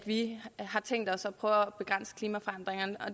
vi har tænkt os at prøve at begrænse klimaforandringerne